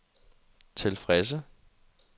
tilfredse